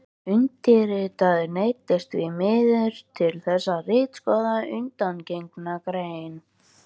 Undirritaður neyddist því miður til þess að ritskoða undangengna grein